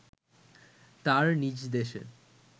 তার নিজ দেশে